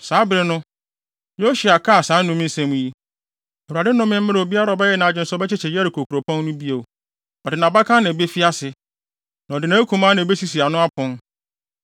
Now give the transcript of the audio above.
Saa bere no, Yosua kaa saa nnome nsɛm yi: “ Awurade nnome mmra obiara a ɔyɛ nʼadwene sɛ ɔbɛkyekyere Yeriko kuropɔn no bio. “Ɔde nʼabakan na ebefi ase, na ɔde nʼakumaa na ebesisi ano apon.”